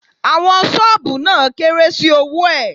Àwọn ṣọ́ọ̀bù náà kéré sí owó ẹ̀.